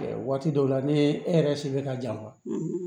Waati dɔw la ni e yɛrɛ se bɛ ka jan